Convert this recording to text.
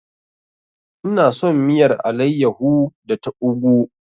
Ina son miyar alayyahu da ta ugwu.